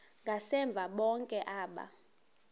ngasemva bonke aba